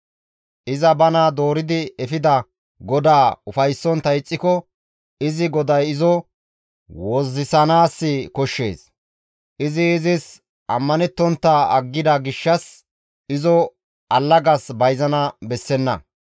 Iza bana dooridi efida godaa ufayssontta ixxiko izi goday izo wozzisanaas koshshees. Izi izis ammanettontta aggida gishshas izo allagas bayzana bessenna.